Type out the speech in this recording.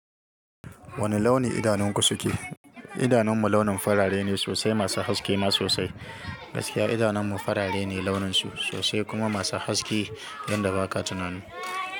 Wane launi idanunku suke? Idanunmu launin farare ne sosai, masu haske ma sosai. Gaskiya idanunmu farare ne launinsu sosai kuma masu haske yadda ba ka tunani.